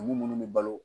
Dugu munnu bɛ balo